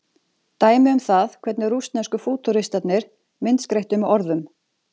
Dæmi um það hvernig rússnesku fútúristarnir myndskreyttu með orðum.